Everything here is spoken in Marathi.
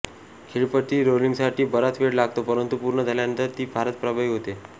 खेळपट्टी रोलिंगसाठी बराच वेळ लागतो परंतु पूर्ण झाल्यानंतर ती फारच प्रभावी होते